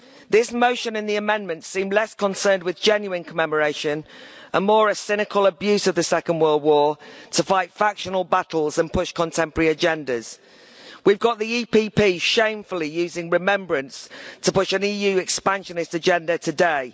This motion and the amendments seem less concerned with genuine commemoration, and more with a cynical abuse of the Second World War to fight factional battles and push contemporary agendas. We've got the EPP shamefully using remembrance to push an EU expansionist agenda today.